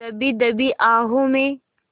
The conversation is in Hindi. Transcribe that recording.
दबी दबी आहों में